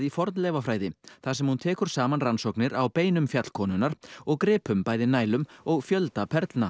fornleifafræði þar sem hún tekur saman rannsóknir á beinum fjallkonunnar og gripum bæði og fjölda